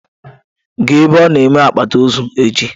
Gaa ebe onye na-eme akpati ozu echi.